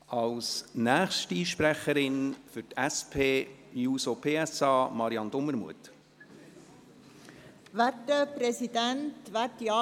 Als nächste Sprecherin für die SP-JUSO-PSA-Fraktion hat Marianne Dumermuth das Wort.